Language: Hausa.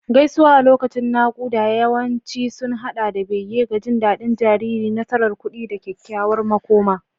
Gaisuwa a lokacin naƙuda yawanci sun haɗa da bege ga jin daɗin jariri, nasarar kuɗi, da kyakkyawar makoma.